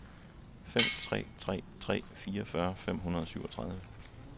fire tre tre tre fireogfyrre fem hundrede og syvogtredive